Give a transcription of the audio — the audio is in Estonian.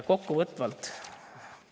Kokkuvõtteks.